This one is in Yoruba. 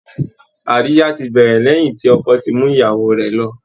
Àríyá ti bẹ̀rẹ̀ lẹ́yìn tí ọkọ ti mú ìyàwó rẹ̀ lọ